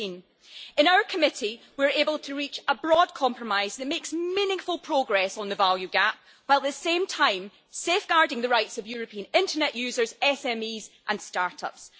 13. In our Committee we were able to reach a broad compromise that makes meaningful progress on the value gap while at the same time safeguarding the rights of European Internet users, SMEs and start-ups.